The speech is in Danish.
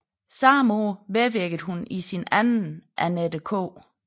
Samme år medvirkede hun i sin anden Annette K